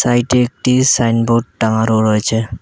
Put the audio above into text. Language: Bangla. এইটি একটি সাইনবোর্ড টাঙানো রয়েছে।